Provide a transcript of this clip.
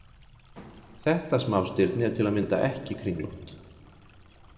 Þetta smástirni er til að mynda ekki kringlótt.